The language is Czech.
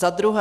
Za druhé.